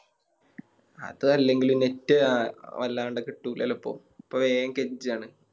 അത് അല്ലെങ്കിലും Net അഹ് വല്ലാണ്ട് കിട്ടൂല്ലലോ ഇപ്പൊ ഇപ്പൊ വേഗം കെഞ്ചാണ്